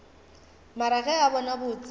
mare ge re bona botse